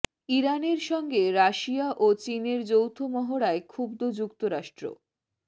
ইরানের সঙ্গে রাশিয়া ও চীনের যৌথ মহড়ায় ক্ষুব্ধ যুক্তরাষ্ট্র